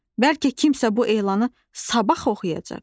Bəlkə kimsə bu elanı sabah oxuyacaq.